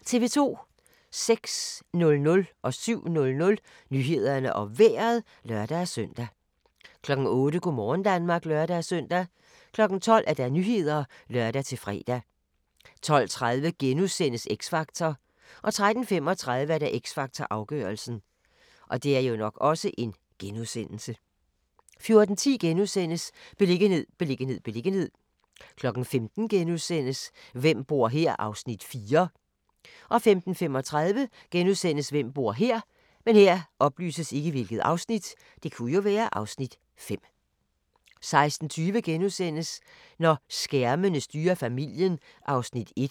06:00: Nyhederne og Vejret (lør-søn) 07:00: Nyhederne og Vejret (lør-søn) 08:00: Go' morgen Danmark (lør-søn) 12:00: Nyhederne (lør-fre) 12:30: X Factor * 13:35: X Factor - afgørelsen 14:10: Beliggenhed, beliggenhed, beliggenhed * 15:00: Hvem bor her? (Afs. 4)* 15:35: Hvem bor her? * 16:20: Når skærmene styrer familien (1:2)*